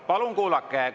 Palun kuulake!